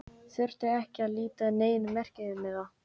Þyrfti ekki að líta á neinn merkimiða.